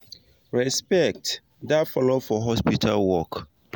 respect da follow for hospital work